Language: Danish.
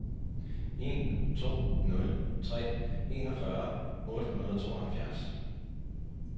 en to nul tre enogfyrre otte hundrede og tooghalvfjerds